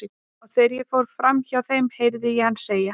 Og þegar ég fór fram hjá þeim heyri ég hann segja